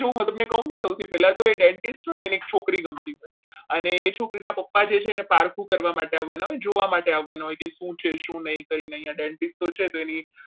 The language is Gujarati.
માં જોવો હું તમને કહું ને તો પહેલા તો એ dentist હોય ને એને એક છોકરી ગમતી હોય અને છોકરીના પપ્પા છે એને પારખું કરવા માટે આવવાના જોવા માટે આવવાના હોય છે શું છે શું નહીં dentist તો છે એની